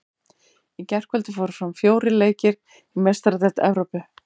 Í gærkvöldi fóru fram fjórir leikir í Meistaradeild Evrópu.